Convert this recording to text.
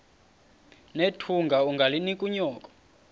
nethunga ungalinik unyoko